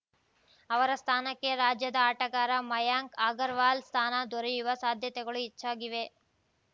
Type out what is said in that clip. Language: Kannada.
ಅವರ ಸ್ಥಾನಕ್ಕೆ ರಾಜ್ಯದ ಆಟಗಾರ ಮಯಾಂಕ್‌ ಅಗರ್‌ವಾಲ್‌ ಸ್ಥಾನ ದೊರೆಯುವ ಸಾಧ್ಯತೆಗಳು ಹೆಚ್ಚಾಗಿವೆ